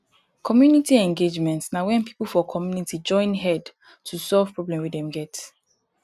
community engagement na when pipo for community join head to solve problem wey dem get